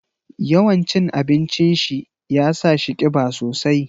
Yawan cin abincin shi ya sa shi kiba sosai.